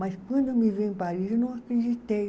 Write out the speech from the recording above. Mas quando eu me vi em Paris, eu não acreditei.